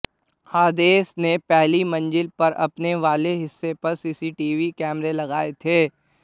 आदेश ने पहली मंजिल पर अपने वाले हिस्से में सीसीटीवी कैमरे लगाए थे